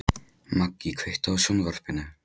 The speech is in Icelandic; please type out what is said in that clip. Maggý, kveiktu á sjónvarpinu.